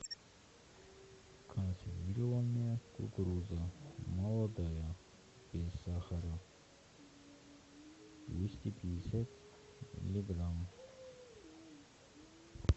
консервированная кукуруза молодая без сахара двести пятьдесят милиграмм